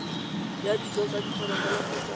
ya dijo tsa diphologolo kgotsa